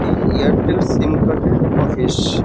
এই Airtel sim card -এর office.